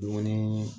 Dumuni